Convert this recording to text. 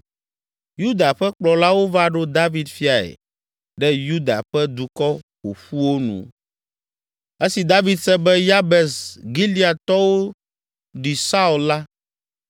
Yuda ƒe kplɔlawo va ɖo David fiae ɖe Yuda ƒe dukɔ ƒoƒuwo nu. Esi David se be Yabes Gileadtɔwo ɖi Saul la,